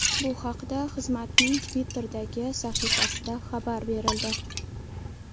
Bu haqda xizmatning Twitter’dagi sahifasida xabar berildi .